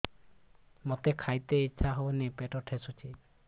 ମୋତେ ଖାଇତେ ଇଚ୍ଛା ହଉନି ପେଟ ଠେସୁଛି